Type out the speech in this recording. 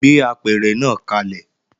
Gbé apẹ̀rẹ̀ náà kalẹ̀!